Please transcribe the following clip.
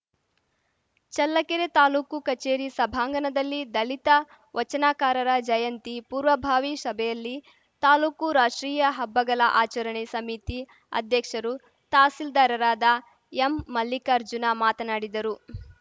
ಚಲ್ಲಕೆರೆ ತಾಲೂಕು ಕಚೇರಿ ಸಭಾಂಗಣದಲ್ಲಿ ದಲಿತ ವಚನಕಾರರ ಜಯಂತಿ ಪೂರ್ವಭಾವಿ ಸಭೆಯಲ್ಲಿ ತಾಲೂಕು ರಾಷ್ಟ್ರೀಯ ಹಬ್ಬಗಲ ಆಚರಣಾ ಸಮಿತಿ ಅಧ್ಯಕ್ಷರು ತಹಸೀಲ್ದಾರರಾದ ಎಂಮಲ್ಲಿಕಾರ್ಜುನ ಮಾತನಾಡಿದರು